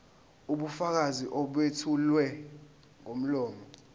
ubufakazi obethulwa ngomlomo